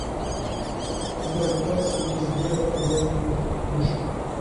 у тебя в запасе есть дело о мертвых душах